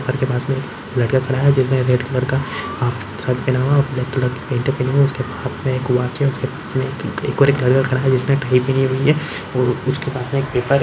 पत्थर पास में एक लड़का खड़ा है जिसने रेड कलर का शर्ट पहना हुआ है और ब्लैक कलर की पेंट पहनी हुई है उसके हाथ मे एक वॉच है उसके पास मे एक और एक लड़का खड़ा है जिसने टाई पहनी हुई है और उस के पास में एक पेपर --